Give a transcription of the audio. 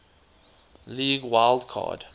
league wild card